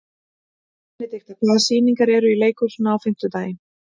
Benidikta, hvaða sýningar eru í leikhúsinu á fimmtudaginn?